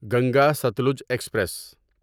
Ganga Sutlej express